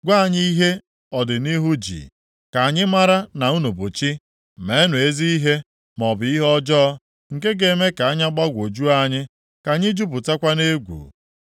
gwa anyị ihe ọdịnihu ji, ka anyị mara na unu bụ chi. Meenụ ezi ihe, maọbụ ihe ọjọọ, nke ga-eme ka anya gbagwojuo anyị, ka anyị jupụtakwa nʼegwu.